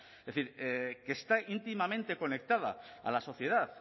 es decir que está íntimamente conectada a la sociedad